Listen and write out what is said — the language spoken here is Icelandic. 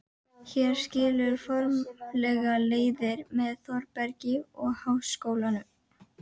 Hér skilur formlega leiðir með Þórbergi og Háskólanum.